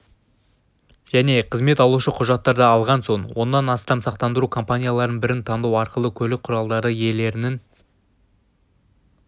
және қызмет алушы құжаттарды алған соң оннан астам сақтандыру компанияларының бірін таңдау арқылы көлік құралдары иелерінің